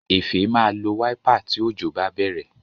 Efe má lọ Wáípà tí Òjò bá bèrè.